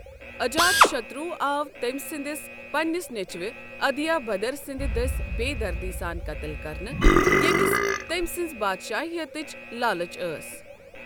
اجات شتروٗ آو تٔمۍ سندِس پنٛنِس نیٚچوِ اُدھیے بھدر سندِ دٔسۍ بےٚ دردی سان قتل كرنہٕ ،ییمِس تٔمۍ سٕنزِ بادشٲہیتٕچ لالٕچ ٲس۔